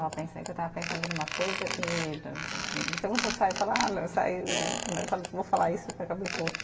Que eu estava pensando numa coisa e saio e falo ah eu vou falar isso